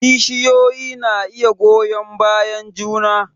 Kishiyoyi na iya goyon bayan juna